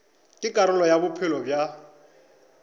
ke karolo ya bophelo bja